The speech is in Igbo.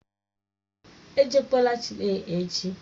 Èjekwalà Chile echi!